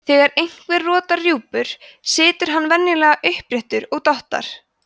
þegar einhver rotar rjúpur situr hann venjulega uppréttur og dottar